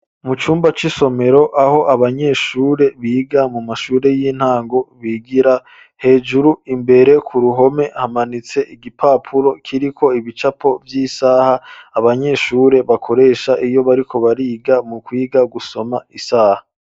Mu cumba c'isomero aho abanyeshure biga mu mashure y'intango bigira hejuru imbere ku ruhome hamanitse igipapuro kiri ko ibicapo vy'isaha abanyeshure bakoresha iyo bariko bariga mu kwiga gusoma isaha.